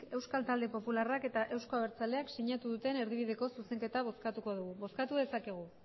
eusko talde popularrak eta euzko abertzaleak sinatu duten erdibideko zuzenketa bozkatuko dugu bozkatu dezakegu